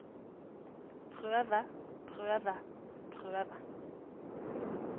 prøve prøve prøve